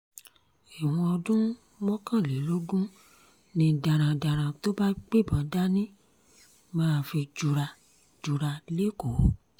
ẹ̀wọ̀n ọdún mọ́kànlélógún ni darandaran tó bá gbébọn dání máa fi jura jura lẹ́kọ̀ọ́